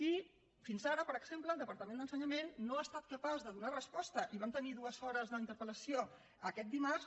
i fins ara per exemple el departament d’ensenyament no ha estat capaç de donar resposta i vam tenir dues hores d’interpel·lació aquest dimarts